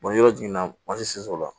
yɔrɔ jiginna la